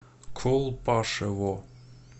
колпашево